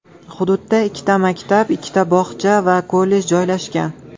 Hududda ikkita maktab, ikkita bog‘cha va kollej joylashgan.